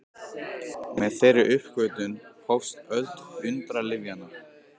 Með þeirri uppgötvun hófst öld undralyfjanna.